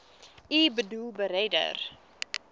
u boedel beredder